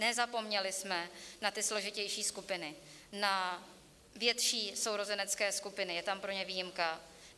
Nezapomněli jsme na ty složitější skupiny, na větší sourozenecké skupiny, je tam pro ně výjimka.